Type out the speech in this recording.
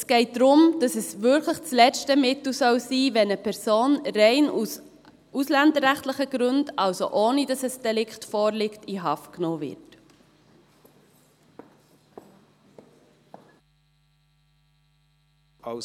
Es geht darum, dass es wirklich das letzte Mittel sein soll, wenn eine Person aus rein ausländerrechtlichen Gründen, also ohne dass ein Delikt vorliegt, in Haft genommen wird.